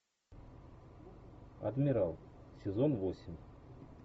адмирал сезон восемь